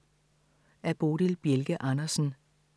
Af Bodil Bjelke Andersen